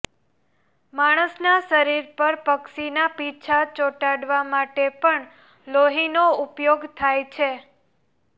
માણસના શરીર પર પક્ષીના પીંછા ચોટાડવા માટે પણ લોહીનો ઉપયોગ થાય છે